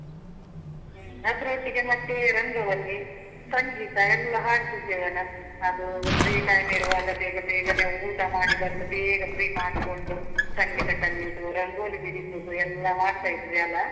ಹೂ. ಅದ್ರೊಟ್ಟಿಗೆ ಮತ್ತೆ ರಂಗವಲ್ಲಿ, ಸಂಗೀತ ಎಲ್ಲ ಹಾಡ್ತಿದ್ವಿ ಅಲ್ಲ. ಅದೂ free time ಇರುವಾಗ ಬೇಗ ಬೇಗನೆ ಊಟ ಮಾಡಿ ಬಂದು, ಬೇಗ free ಮಾಡ್ಕೊಂಡು, ಸಂಗೀತ ಕಲ್ಯುದು, ರಂಗೋಲಿ ಬಿಡಿಸುದು ಎಲ್ಲ ಮಾಡ್ತಾ ಇದ್ವಿ ಅಲಾ?